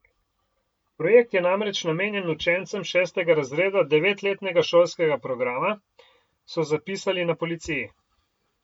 Projekt je namreč namenjen učencem šestega razreda devetletnega šolskega programa, so zapisali na policiji.